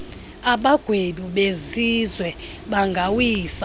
abagwebi besizwe bangawisa